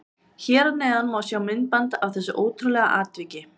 Hér að neðan má sjá myndband af þessu ótrúlega atviki.